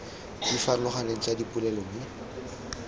di farologaneng tsa dipolelo mo